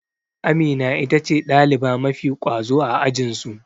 Amina itace ɗaliba mafi ƙwazo a ajinsu.